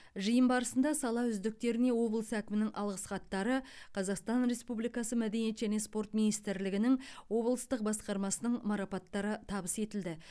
жиын барысында сала үздіктеріне облыс әкімінің алғысхаттары қазақстан республикасы мәдениет және спорт министрлігінің облыстық басқармасының марапаттары табыс етілді